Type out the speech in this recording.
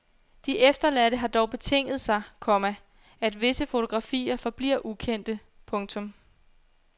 De efterladte har dog betinget sig, komma at visse fotografier forbliver ukendte. punktum